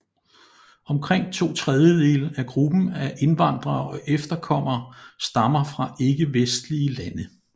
Omkring to tredjedele af gruppen af indvandrere og efterkommere stammer fra ikkevestlige lande